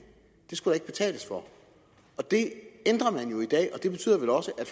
skulle der ikke betales for det ændrer man jo i dag og det betyder vel også at